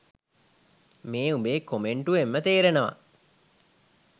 මේ උබේ කොමෙන්ටුවෙන්ම තෙරෙනවා